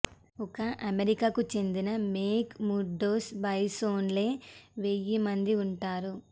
ఒక్క అమెరికాకు చెందిన మెక్ ముర్డోస్ బేస్లోనే వేయి మంది ఉంటారు